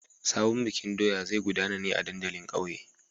Sabon bikin doya zai gudana ne a dandalin ƙauye.